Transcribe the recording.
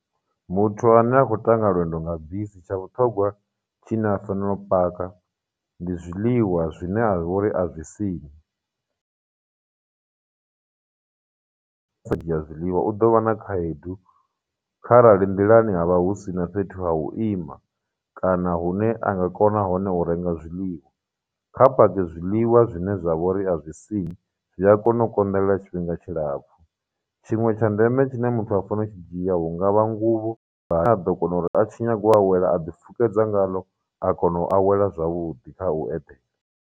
Muthu ane a khou ṱanga lwendo nga bisi, tsha vhuṱhogwa tshine a fanela u paka ndi zwiḽiwa zwine vha uri a zwi siṋi. sa dzhia zwiḽiwa, u ḓo vha na khaedu kharali nḓilani havha hu sina fhethu ha u ima, kana hune a nga kona hone u renga zwiḽiwa, kha pake zwiḽiwa zwine zwa vhori a zwi siṋi, zwi a kona u konḓelela tshifhinga tshilapfu. Tshiṅwe tsha ndeme tshine muthu a fanela u tshi dzhia, hungavha nguvho a ḓo kona uri a tshi nyaga u awela a ḓi fukedza ngalo a kona u awela zwavhuḓi kha .